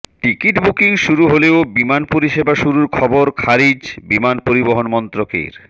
ticket booking শুরু হলেও বিমান পরিষেবা শুরুর খবর খারিজ বিমান পরিবহণ মন্ত্রকের